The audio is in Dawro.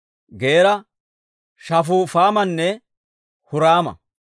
Geera, Shafufaamanne Huraama.